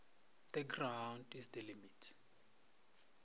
the ground is the limit